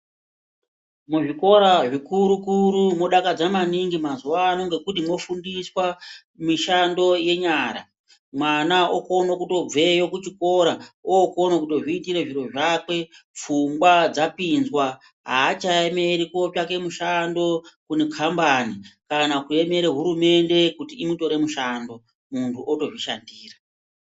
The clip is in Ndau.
Muzvikora zvikuru-kuru modakadza maningi mazuvano ngokuti mofundiswa mishando yenyara. Mwana okone kutobveyo kuchikora ookone kutozviitira zviro zvakwe, pfungwa dzapinzwa. Hachaemeri kuotsvake mushando mukambani kana kuemere hurumende kuti imutore mushando, muntu otozvishandira.